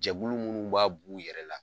Jɛkulu munnu b'a b'u yɛrɛ la